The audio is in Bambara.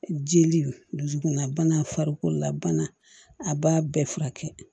Jeli dusukunna bana farikolo la bana a b'a bɛɛ furakɛ